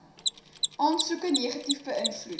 aansoeke negatief beïnvloed